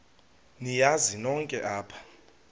niyazi nonk apha